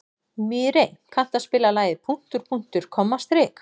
Mírey, kanntu að spila lagið „Punktur, punktur, komma, strik“?